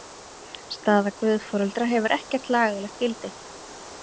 Staða guðforeldra hefur ekkert lagalegt gildi.